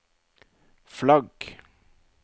flagg